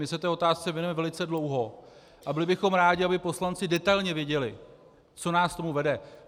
My se této otázce věnujeme velice dlouho a byli bychom rádi, aby poslanci detailně věděli, co nás k tomu vede.